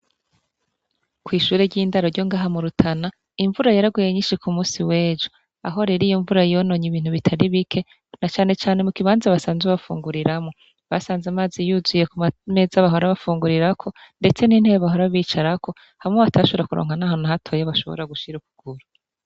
Kwishure ry'indaro ryongaha mu Rutana, imvura yaraguhe nyinshi kumunsi w'ejo. Aho rer'imvura yonony'ibintu bitaribike, na cane cane mu ikibanza basanzwe bafunguriramwo, basanz'amazi yuzuye kumameza bahora bafungurirako, ndetse n'intebe bahora bicarako, hamwe batoshobora kuronka nahantu nahatoya bashobora gushir'ukuguru.